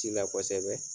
Ci la kosɛbɛ